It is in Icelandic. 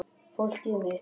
Fólkið mitt.